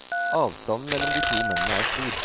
Avstanden mellom de to mennene er stor.